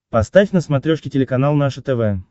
поставь на смотрешке телеканал наше тв